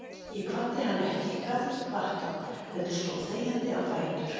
Ég kvaddi hann ekki, gat ekki kvatt hann, heldur stóð þegjandi á fætur.